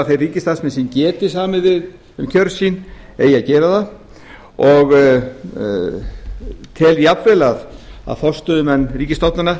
að þeir ríkisstarfsmenn sem geti samið um kjör sín eigi að gera það og tel jafnvel að forstöðumenn ríkisstofnana